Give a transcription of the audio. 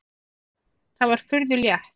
Það var furðu létt.